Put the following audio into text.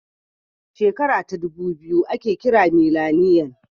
Shekara ɗubu biyu ake kira mileniyan